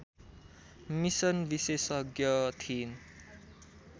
mission विशेषज्ञ थिइन्